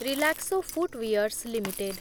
Relaxo footwears limited